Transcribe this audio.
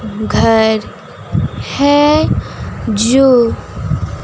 घर है जो--